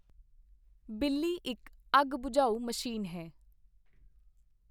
ਬਿੱਲੀ ਇੱਕ ਅੱਗ ਬਝਾਊ ਮਸ਼ੀਨ ਹੈ।